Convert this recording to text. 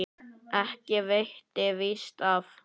Ekki veitti víst af.